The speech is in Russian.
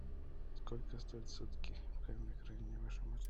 сколько стоят сутки